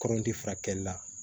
Kɔrɔnti furakɛli la